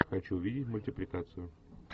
хочу увидеть мультипликацию